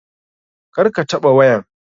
Kar ka taɓa wayan.